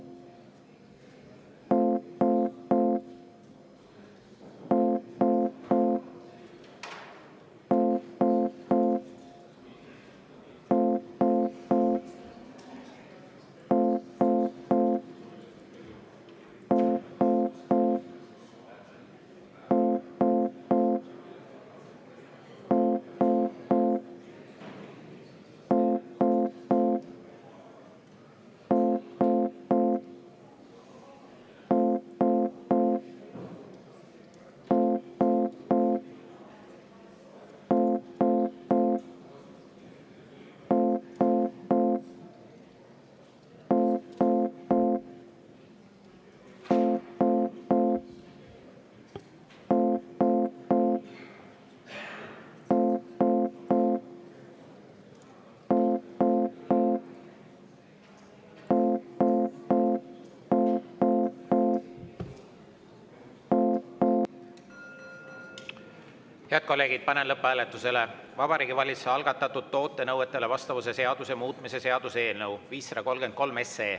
Head kolleegid, panen lõpphääletusele Vabariigi Valitsuse algatatud toote nõuetele vastavuse seaduse muutmise seaduse eelnõu 533.